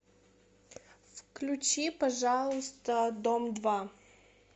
включи пожалуйста дом два